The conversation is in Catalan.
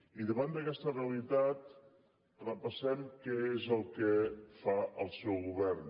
i davant d’aquesta realitat repassem què és el que fa el seu govern